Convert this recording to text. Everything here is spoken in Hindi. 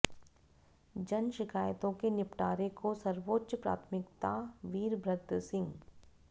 जन शिकायतों के निपटारे को सर्वोच्च प्राथमिकताः वीरभद्र सिंह